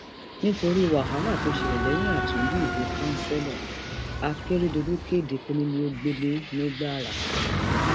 um nítorí wàhálà tó ṣẹlẹ lẹyìn àtúndí ìbò kanṣẹlo um àkèrèdọlù kéde kónílégbélé nìgbára